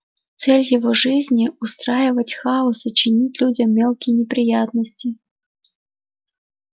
цель его жизни устраивать хаос и чинить людям мелкие неприятности